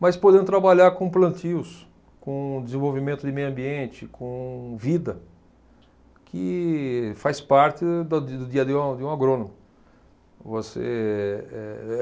mas podendo trabalhar com plantios, com desenvolvimento de meio ambiente, com vida, que faz parte da, do dia a dia de um agrônomo. Você eh